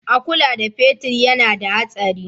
A kula da fetir yana da hatsari.